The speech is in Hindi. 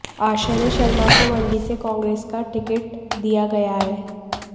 आश्रय शर्मा को मंडी से कांग्रेस का टिकट दिया गया है